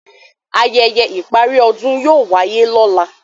ayẹyẹ ìparí ọdún yóò wáyé lọ́la.